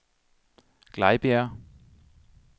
Glejbjerg